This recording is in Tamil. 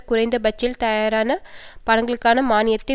குறைந்த பட்ஜெட்டில் தயாரான படங்களுக்கான மானியத்தை